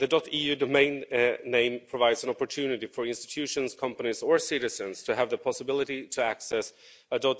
.eu domain name provides an opportunity for institutions, companies and citizens to have the possibility to access a